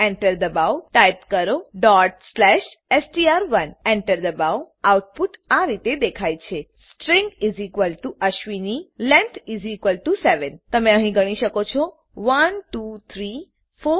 Enter દબાવો type કરો str1 Enter દબાવો આઉટપુટ આ રીતે દેખાય છે સ્ટ્રીંગ અશ્વિની લેંગ્થ 7 તમે અહીં ગણી શકો છો